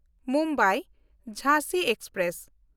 ᱢᱩᱢᱵᱟᱭ–ᱡᱷᱟᱸᱥᱤ express